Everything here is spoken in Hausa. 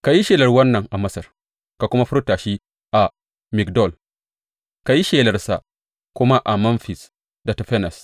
Ka yi shelar wannan a Masar, ka kuma furta shi a Migdol; ka yi shelarsa kuma a Memfis da Tafanes.